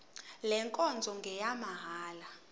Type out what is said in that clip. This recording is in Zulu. le nkonzo ngeyamahala